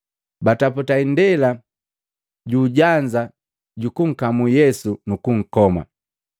Bataputa indela juu ujanza juku nkamu Yesu nunkukoma.